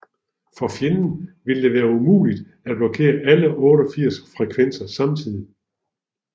For fjenden ville det være umuligt at blokkere alle 88 frekvenser samtidigt